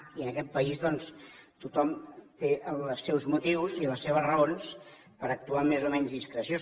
i en aquest país doncs tothom té els seus motius i les seves raons per actuar amb més o menys discreció